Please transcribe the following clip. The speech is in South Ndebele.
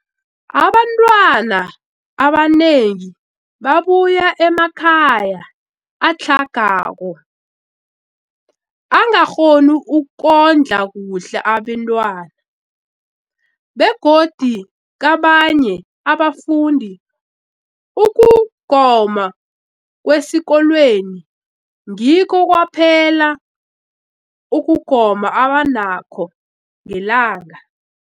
Abantwana abanengi babuya emakhaya atlhagako angakghoni ukondla kuhle abentwana, begodu kabanye abafundi, ukugoma kwesikolweni ngikho kwaphela ukugoma abanakho ngelanga.